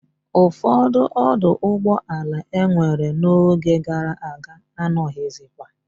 Ufodu oduugboala e nwere no oge gara aga anoghizikwa